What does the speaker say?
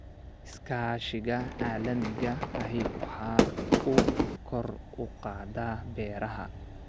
Iskaashiga caalamiga ahi waxa uu kor u qaadaa beeraha.